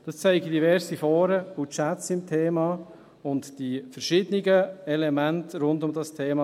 Das zeigen diverse Foren und Chats zum Thema, die verschiedenen Elemente rund um dieses Thema.